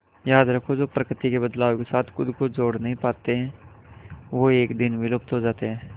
याद रखो जो प्रकृति के बदलाव के साथ खुद को जोड़ नहीं पाते वो एक दिन विलुप्त हो जाते है